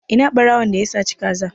Ina ɓarawon da ya saci ka za?